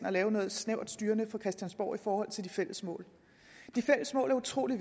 at lave noget snævert styrende fra christiansborg i forhold til de fælles mål de fælles mål er utrolig